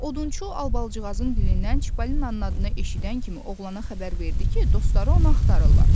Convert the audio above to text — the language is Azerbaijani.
Odunçu Albalıcığazın dilindən Çippolinanın adını eşidən kimi oğlana xəbər verdi ki, dostları onu axtarırlar.